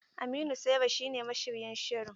Aminu Saira shine mashiryin shirin.